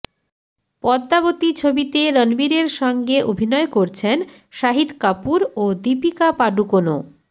পদ্মাবতী ছবিতে রণবীরের সঙ্গে অভিনয় করছেন শাহিদ কাপূর ও দীপিকা পাড়ুকোনও